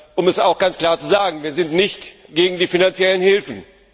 Um es ganz klar zu sagen, wir sind nicht gegen die finanziellen Hilfen.